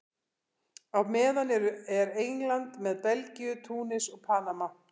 Á meðan er England með Belgíu, Túnis og Panama.